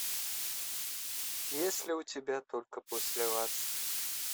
есть ли у тебя только после вас